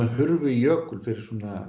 hurfu í jökul fyrir